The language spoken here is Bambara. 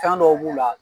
Fɛn dɔw b'u la